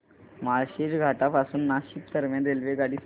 माळशेज घाटा पासून नाशिक दरम्यान रेल्वेगाडी सांगा